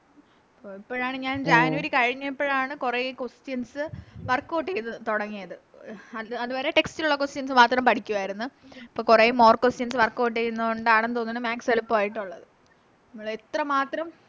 ഓ ഇപ്പഴാണ് ഞാൻ January കഴിഞ്ഞപ്പഴാണ് കൊറേ Questions workout ചെയ്ത തൊടങ്ങിയത് അത് വരെ Text ൽ ഉള്ള Questions മാത്രം പഠിക്കുവാരുന്ന് അപ്പൊ കൊറേ More questions workout ചെയ്യുന്നത്കൊണ്ടാണെന്ന് തോന്നുണു Maths എളുപ്പായിട്ടുള്ളത് മ്മളെത്രമാത്രം